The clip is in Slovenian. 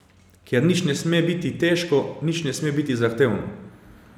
Ker nič ne sme biti težko, nič ne sme biti zahtevno.